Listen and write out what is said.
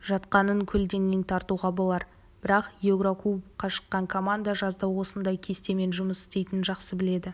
жатқанын көлденең тартуға болар бірақ еурокубокқа шыққан команда жазда осындай кестемен жұмыс істейтінін жақсы біледі